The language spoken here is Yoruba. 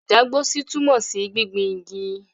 Ìdágbósí túmọ̀ sí gbingbin igi.